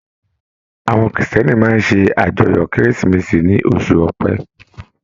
Àwọn Kiristẹni máa ṣe ajọ́yọ kérésìmesì ní oṣù ọpẹ.